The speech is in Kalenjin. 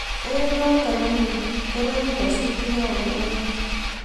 eng notok anyun koregu nyasutik ab oret